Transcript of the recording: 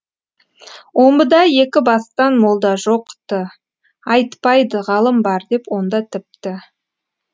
омбыда екі бастан молда жоқ ты айтпайды ғалым бар деп онда тіпті